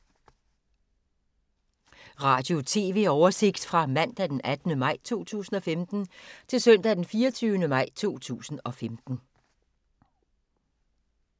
Radio/TV oversigt fra mandag d. 18. maj 2015 til søndag d. 24. maj 2015